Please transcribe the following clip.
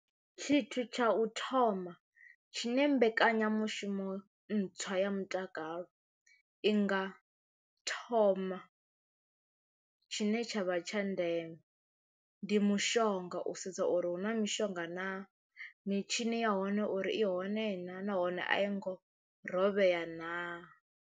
Tshithu tsha u thoma tshine mbekanyamushumo ntswa ya mutakalo i nga thoma tshine tshavha tsha ndeme ndi mushonga u sedza uri hu na mishonga naa, mitshini ya hone uri i hone naa nahone a i ngo rovhea naa.